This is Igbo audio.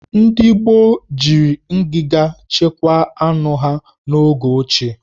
Ndị Igbo jiri ngiga chekwaa anụ ha n'oge ochie.